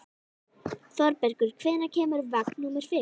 Þorbergur, hvenær kemur vagn númer fimm?